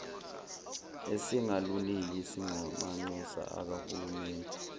esingaluniki singamanxusa akahulumeni